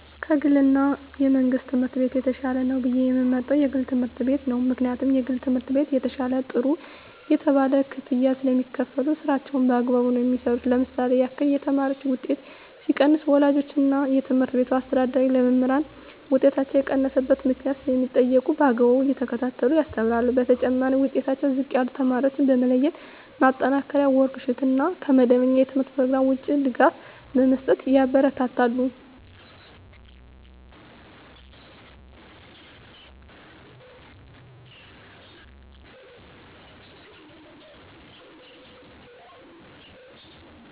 ከ ግል እና የመንግሥት ትምህርት ቤት የተሻለ ነው ብየ የምመርጠው የግል ትምህርት ቤት ነው ምክንያቱም የግል ትምህርት ቤት የተሻለ ጥሩ የተባለ ክፍያ ስለሚካፈሉ ስራቸውን በአግባቡ ነው የሚሠሩ ለምሳሌ ያክል የተማሪዎች ውጤት ሲቀንስ ወላጆች እና የትምህርት ቤቱ አስተዳዳሪ ለመምህራን ውጤታቸው የቀነሰበት ምክንያት ስለሚጠይቁ በአግባቡ እየተከታተሉ ያስተምራሉ በተጨማሪ ዉጤታቸው ዝቅ ያለ ተማሪዎችን በመለየት ማጠናከሪያ ወርክ ሽት እና ከመደበኛ የተምህርት ኘሮግራም ውጭ ድጋፍ በመስጠት ያበረታታሉ።